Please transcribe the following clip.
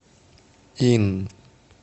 инн